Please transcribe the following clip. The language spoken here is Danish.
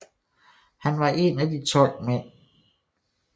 Han var en af de 12 mænd Dr